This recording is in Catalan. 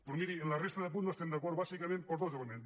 però miri en la resta de punts no hi estem d’acord bàsicament per dos elements